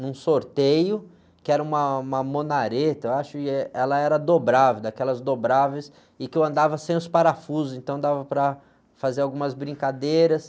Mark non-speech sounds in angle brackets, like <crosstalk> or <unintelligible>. num sorteio, que era uma, uma, <unintelligible> eu acho, e ela era dobrável, daquelas dobráveis, e que eu andava sem os parafusos, então dava para fazer algumas brincadeiras.